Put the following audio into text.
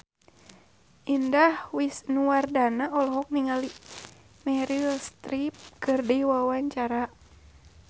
Indah Wisnuwardana olohok ningali Meryl Streep keur diwawancara